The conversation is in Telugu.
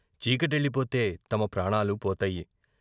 చీకటెల్లిపోతే తమ ప్రాణాలు పోతాయి.